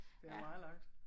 Det er meget langt